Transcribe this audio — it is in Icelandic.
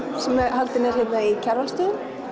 sem haldin er hérna í Kjarvalsstöðum